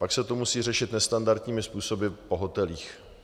Pak se to musí řešit nestandardními způsoby po hotelích.